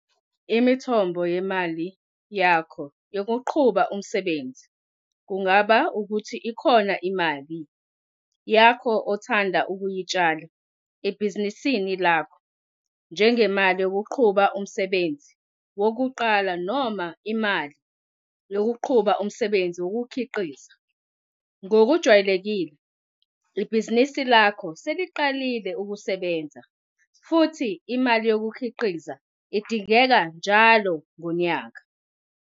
Imithombo yemali yakho yokuqhuba umsebenzi kungaba ukuthi ikhona imali yakho ongathanda ukuyitshala ebhizinisini lakho njengemali yokuqhuba umsebenzi wokuqala noma imali yokuqhuba umsebenzi wokukhiqiza. Ngokujwayelekile uma ibhizinisi lakho seliqalile ukusebenza futhi imali yokukhiqiza idingeka njalo ngonyaka.